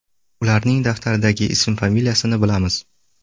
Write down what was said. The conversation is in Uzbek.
Ularning daftardagi ism-familiyasini bilamiz.